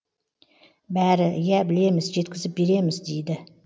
бәрі иә білеміз жеткізіп береміз дейді